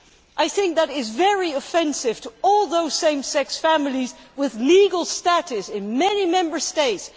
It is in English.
I think that is very offensive to all those same sex families with legal status in many Member States.